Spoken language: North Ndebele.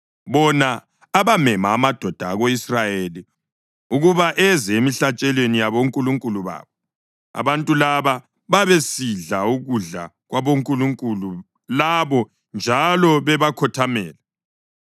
bona abamema amadoda ako-Israyeli ukuba eze emihlatshelweni yabonkulunkulu babo. Abantu laba babesidla ukudla kwabonkulunkulu labo njalo bebakhothamele.